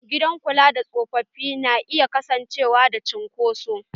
Gidan kula da tsofaffi na iya kasancewa da cunkoso.